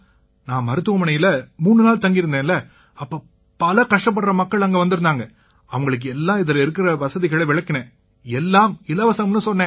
நான் மருத்துவமனையில 3 நாள் தங்கியிருந்தேன்ல அப்ப பல கஷ்டப்படுற மக்கள் அங்க வந்திருந்தாங்க அவங்களுக்கு எல்லாம் இதில இருக்கற வசதிகளை விளக்கினேன் எல்லாம் இலவசம்னு சொன்னேன்